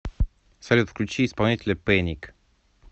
салют включи исполнителя пэник